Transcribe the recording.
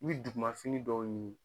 N bi duguma fini dɔw ɲini